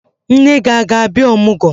Nne gị a ga-abịa ọmụgwọ?